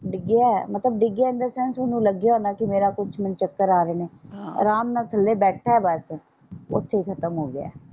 ਡਿੱਗਿਆ ਮਤਲਬ ਡਿੱਗਿਆ ਇਨ ਦਾ ਸੈਂਸ ਓਹਨੂੰ ਲੱਗਿਆ ਮੇਰਾ ਕੁਛ ਮੈਨੂੰ ਚੱਕਰ ਆ ਰਹੇ ਨੇ ਅਰਾਮ ਨਾਲ ਥੱਲੇ ਬੈਠਾ ਸੀ ਓਥੇ ਈ ਖਤਮ ਹੋਗਿਆ।